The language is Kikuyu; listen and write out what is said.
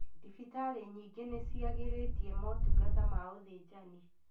Thibitari nyingi nĩciagĩrĩtie motungata ma ũthinjani.